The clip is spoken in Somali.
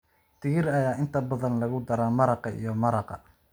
Digir ayaa inta badan lagu daraa maraqa iyo maraqa.